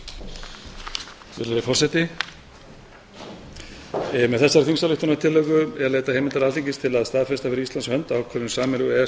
með þessari þingsályktunartillögu er leitað heimildar alþingis til að staðfesta fyrir íslands hönd ákvörðun sameiginlegu e e s